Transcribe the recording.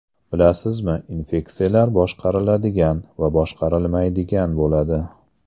Bilasizmi, infeksiyalar boshqariladigan va boshqarilmaydigan bo‘ladi.